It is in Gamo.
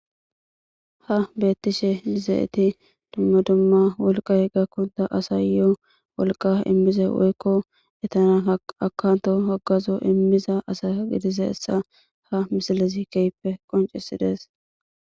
ha beettishe dizeeti dumma dumma wolqay gakkonta asa yo7o wolqa immize woykko etanan akanto hagazo immiza asa gidise essa ha misilezi keyppe qoncisidees